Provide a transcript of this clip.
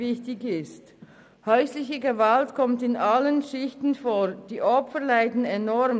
Häusliche Gewalt kommt in allen Schichten vor, und die Opfer leiden enorm.